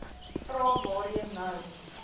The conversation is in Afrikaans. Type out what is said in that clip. vrae waarheen nou